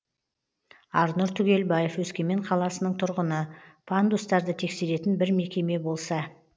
арнұр түгелбаев өскемен қаласының тұрғыны пандустарды тексеретін бір мекеме болса